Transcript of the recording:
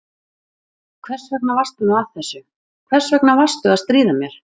Æ, hvers vegna varstu nú að þessu, hvers vegna varstu að stríða mér?